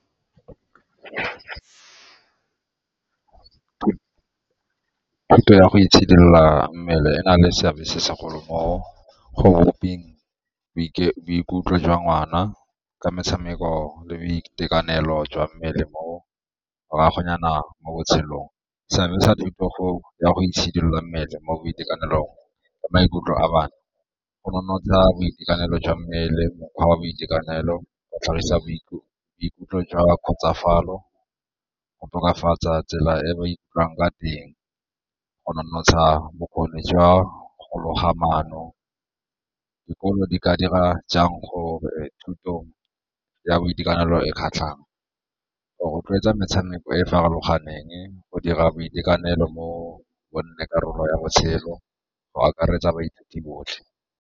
ya go itshidila mmele e na le seabe se segolo mo go bopeng boikutlo jwa ngwana ka metshameko le boitekanelo jwa mmele morago nyana mo botshelong. Seabe sa thuto ya go itshidilola mmele mo boitekanelong maikutlo a bana go nonotsa boitekanelo jwa mmele, mokgwa wa boitekanelo, go tlhagisa boikutlo jwa khutsafalo go tokafatsa tsela e ba ikutlwang ka teng, go nonotsha bokgoni jwa go loga maano. Dikolo di ka dira jang go thuto ya boitekanelo e kgatlhang? Go rotloetsa metshameko e e farologaneng, go dira boitekanelo bo nne karolo ya botshelo, go akaretsa baithuti botlhe.